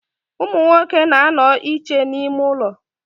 Umunwoke na-ano iche n'ime ulo.